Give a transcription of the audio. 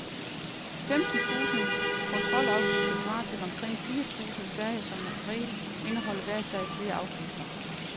Femten tusinde kontrolafgifter svarer til omkring fire tusinde sager, for som regel indeholder hver sag flere afgifter.